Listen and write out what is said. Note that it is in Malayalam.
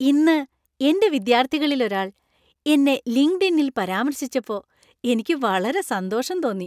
ഇന്ന് എന്‍റെ വിദ്യാർത്ഥികളിൽ ഒരാൾ എന്നെ ലിങ്ക്ഡ്ഇനിൽ പരാമർശിച്ചപ്പോ എനിക്ക് വളരെ സന്തോഷം തോന്നി.